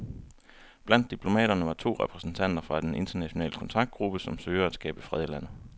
Blandt diplomaterne var to repræsentanter fra den internationale kontaktgruppe, som søger at skabe fred i landet.